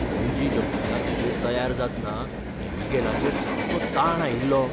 Bungee जंपींगाखातीर तयार जातना ऍबीगेलाचेर सामको ताण आयिल्लो.